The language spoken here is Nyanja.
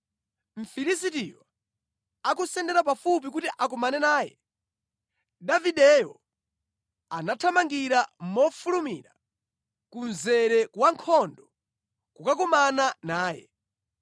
Mfilisitiyo akusendera pafupi kuti akumane naye, Davideyo anathamangira mofulumira ku mzere wa nkhondo kukakumana naye.